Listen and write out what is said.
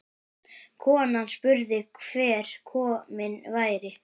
Konan spurði hver kominn væri.